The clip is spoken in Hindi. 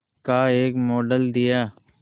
का एक मॉडल दिया